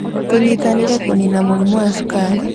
Tũnyitanĩre kũniina mũrimũ wa cukari.